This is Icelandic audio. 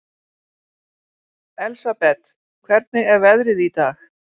Elsabet, hvernig er veðrið í dag?